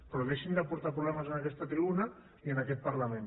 però deixin de portar problemes en aquesta tribuna i en aquest parlament